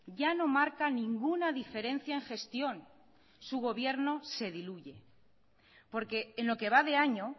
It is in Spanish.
ya no marca ninguna diferencia en gestión su gobierno se diluye porque en lo que va de año